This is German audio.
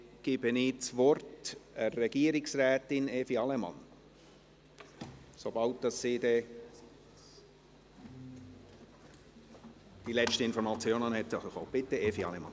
Dann gebe ich das Wort Regierungsrätin Evi Allemann, sobald sie die letzten Informationen erhalten hat.